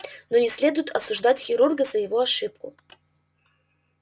но не следует осуждать хирурга за его ошибку